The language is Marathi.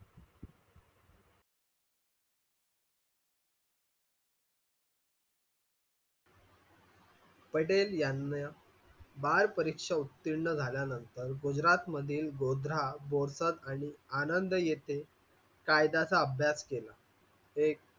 पटेल यांना बाल परीक्षा उत्तीर्ण झाल्यानंतर गुजरात मधील आणि आनंद येथे कायद्याचा अभ्यास केला. ते